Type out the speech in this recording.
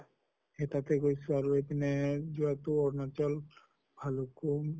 সেই তাতে গৈছো আৰু এইপিনে যোৱা টো আৰুণাচল ভৈৰৱ্কুন্দ